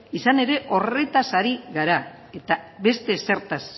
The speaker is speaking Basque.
izan ere horretaz ari gara eta beste ezertaz